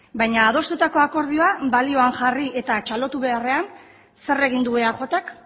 baina adostutako akordioa balioan jarri eta txalotu beharrean zer egin du eajk